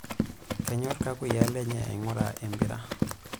Kenyorr kakuyiaa lenye aing'ura empira.